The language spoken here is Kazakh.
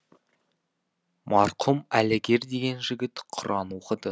марқұм әлігер деген жігіт құран оқыды